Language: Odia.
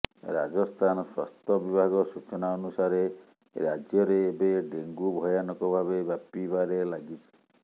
ରାଜସ୍ଥାନ ସ୍ୱାସ୍ଥ୍ୟ ବିଭାଗ ସୂଚନା ଅନୁସାରେ ରାଜ୍ୟରେ ଏବେ ଡେଙ୍ଗୁ ଭୟାନକ ଭାବେ ବ୍ୟାପୀବାରେ ଲାଗିଛି